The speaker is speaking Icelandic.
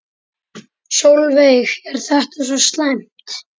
Sólveig: Er þetta svo slæmt?